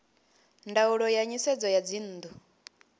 ndaulo ya nisedzo ya dzinnu